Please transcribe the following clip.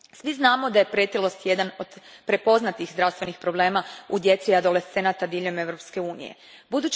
Svi znamo da je pretilost jedan od prepoznatih zdravstvenih problema u djece i adolescenata diljem EU a.